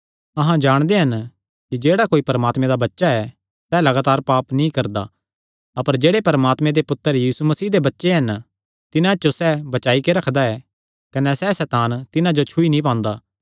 अहां जाणदे हन कि जेह्ड़ा कोई परमात्मे दा बच्चा ऐ सैह़ लगातार पाप नीं करदा अपर जेह्ड़े परमात्मे दे पुत्तर यीशु मसीह दे बच्चे हन तिन्हां जो सैह़ बचाई रखदा ऐ कने सैह़ सैतान तिन्हां जो छुई नीं पांदा